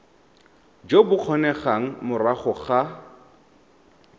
jo bo kgonegang morago ga